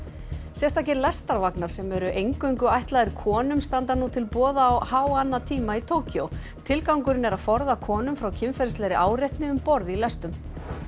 sérstakir lestarvagnar sem eru eingöngu ætlaðir konum standa nú til boða á háannatímum í Tókýó tilgangurinn er að forða konum frá kynferðislegri áreitni um borð í lestum